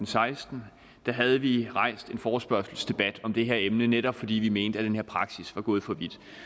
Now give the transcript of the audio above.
seksten havde vi rejst en forespørgselsdebat om det her emne netop fordi vi mente at den her praksis var gået for